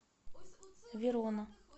верона